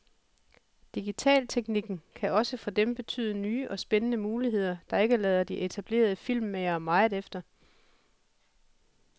Digitalteknikken kan også for dem betyde nye og spændende muligheder, der ikke lader de etablerede filmmagere meget efter.